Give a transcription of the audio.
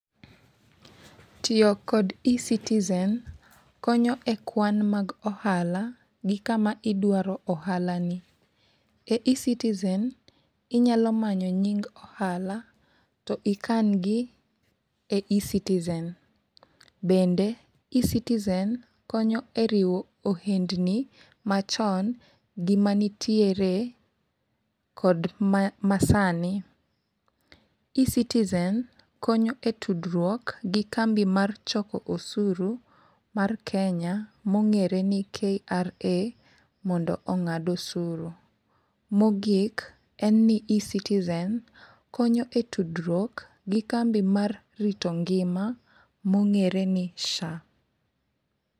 Tiyo kod ecitizen konyo e kwan mag ohala gi kama idwa ohala ni. E E-citizen , inyalo manyo nying ohala to ikan gi e E-citizen. Bende E-citizen konyo e riwo ohendni machon gi manitiere kod masani. E-citizen konyo e tudruok gi kambi mar choko osuru mar kenya mongere ni KRA mondo ong'ad osuru. Mogik ecitizen konyo e tudruok gi kambi mar rito ngima mong'ere ni SHA.